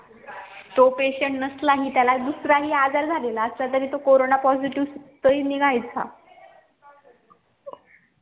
तो patient नसला हि त्याला दुसरा आजार झालेला असला तरी तो corona positive निगायचा